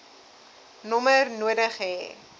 nommer nodig hê